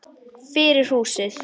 Fyrir húsið.